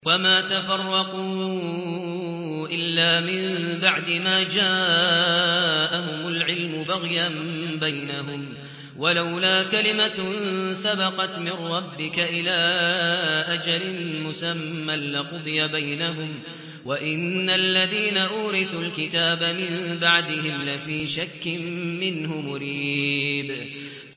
وَمَا تَفَرَّقُوا إِلَّا مِن بَعْدِ مَا جَاءَهُمُ الْعِلْمُ بَغْيًا بَيْنَهُمْ ۚ وَلَوْلَا كَلِمَةٌ سَبَقَتْ مِن رَّبِّكَ إِلَىٰ أَجَلٍ مُّسَمًّى لَّقُضِيَ بَيْنَهُمْ ۚ وَإِنَّ الَّذِينَ أُورِثُوا الْكِتَابَ مِن بَعْدِهِمْ لَفِي شَكٍّ مِّنْهُ مُرِيبٍ